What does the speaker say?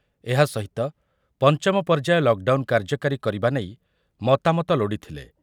ଏହା ସହିତ ପଞ୍ଚମ ପର୍ଯ୍ୟାୟ ଲକଡାଉନ କାର୍ଯ୍ୟକାରୀ କରିବା ନେଇ ମତାମତ ଲୋଡ଼ିଥିଲେ ।